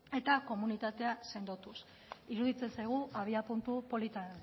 eta komunitatea sendotuz iruditzen zaigu abiapuntu polita